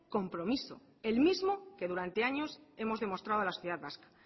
compromiso el mismo que durante años hemos demostrado la sociedad vasca